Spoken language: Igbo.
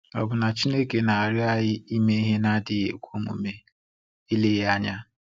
Ọ̀ bụ na Chineke na-arịọ anyị ime ihe na-adịghị ekwe omume? Eleghị anya.